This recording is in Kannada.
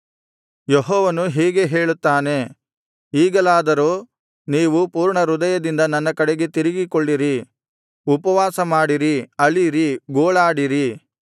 ಯೆಹೋವನು ಹೀಗೆ ಹೇಳುತ್ತಾನೆ ಈಗಲಾದರೂ ನೀವು ಪೂರ್ಣಹೃದಯದಿಂದ ನನ್ನ ಕಡೆಗೆ ತಿರುಗಿಕೊಳ್ಳಿರಿ ಉಪವಾಸಮಾಡಿರಿ ಅಳಿರಿ ಗೋಳಾಡಿರಿ